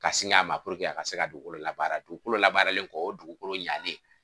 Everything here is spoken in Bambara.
Ka sinŋa a ma puruke a ka se ka dugukolo labaara dugukolo labaaralen kɔ o dugukolo ɲalen.